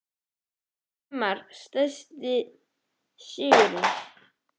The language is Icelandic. Liðið í sumar Sætasti sigurinn?